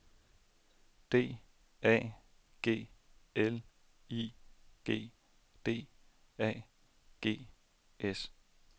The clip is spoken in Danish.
D A G L I G D A G S